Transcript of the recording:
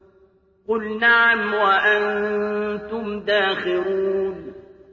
قُلْ نَعَمْ وَأَنتُمْ دَاخِرُونَ